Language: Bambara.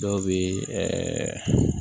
Dɔw bɛ ɛɛ